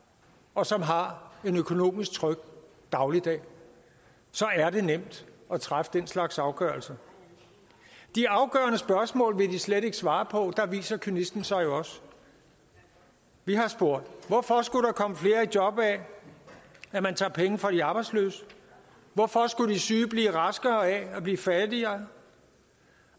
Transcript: og som har en økonomisk tryg dagligdag så er det nemt at træffe den slags afgørelser de afgørende spørgsmål vil de slet ikke svare og der viser kynismen sig jo også vi har spurgt hvorfor skulle der komme flere i job af at man tager penge fra de arbejdsløse hvorfor skulle de syge bliver raskere af at blive fattigere